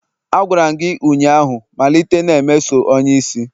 A gwara m gị ụnyahụ. malite na-emeso onye ìsì